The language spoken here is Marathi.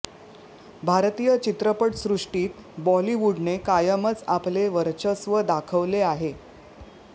भारतीय चित्रपट सृष्टीत बॉलिवूडने कायमच आपले वर्चस्व दाखवले आहे